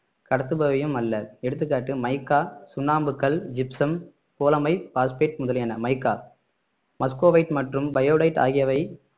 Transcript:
கடத்துபவையும் அல்ல எடுத்துக்காட்டு மைக்கா சுண்ணாம்புக்கல் ஜிப்சம் போலமைப் பாஸ்பேட் முதலியன மைக்கா மஸ்கோவைட் மற்றும் பயோடைட் ஆகியவை